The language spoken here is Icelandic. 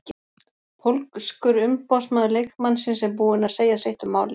Pólskur umboðsmaður leikmannsins er búinn að segja sitt um málið.